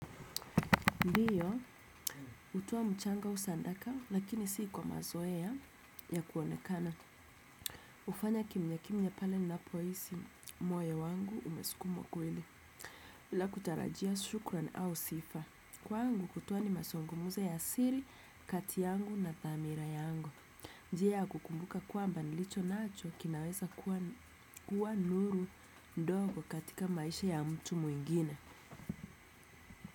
Ndiyo hutoa mchango au sadaka lakini si kwa mazoea ya kuonekana hufanya kimya kimya pale ninapohisi moyo wangu umesukumwa kweli bila kutarajia shukran au sifa kwangu kutoa ni mazungumzo ya siri kati yangu na thamira yangu njia ya kukumbuka kwamba nilicho nacho kinaweza kuwa nuru ndogo katika maisha ya mtu mwingine.